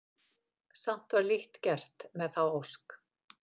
Samt var lítt gert með þá ósk.